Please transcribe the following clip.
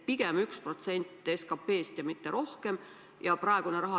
Pigem 1% SKP-st, ja mitte rohkem!